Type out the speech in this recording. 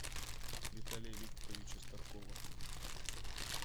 виталия викторовича старкова